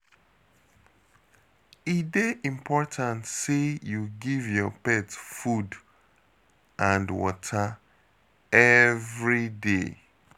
E dey important sey you give your pet food and water everyday.